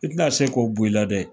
I tɛna se k'o bɔ i la dɛ.